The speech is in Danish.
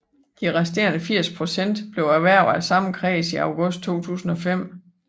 De resterende 80 procent blev erhvervet af samme kreds i august 2005